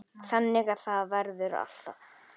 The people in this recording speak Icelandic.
Þannig að það verður alltaf.